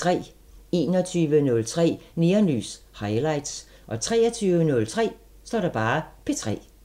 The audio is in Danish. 21:03: Neonlys – Highlights 23:03: P3